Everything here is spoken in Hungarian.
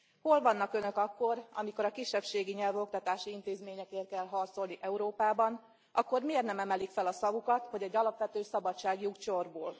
Hol vannak Önök akkor, amikor a kisebbségi nyelvű oktatási intézményekért kell harcolni Európában, akkor miért nem emelik fel a szavukat, hogy egy alapvető szabadságjog csorbul?